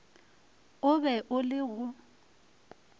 o be o le go